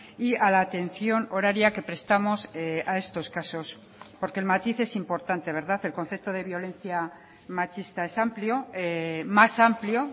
y a la atención horaria que prestamos a estos casos porque el matiz es importante verdad el concepto de violencia machista es amplio más amplio